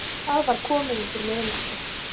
Það var komið undir miðnætti.